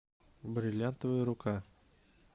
бриллиантовая рука